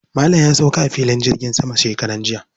Malam ya sauka a filin jirgin sama shekaran jiya.